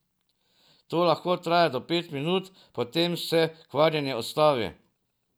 To lahko traja do pet minut, potem se krvavenje ustavi.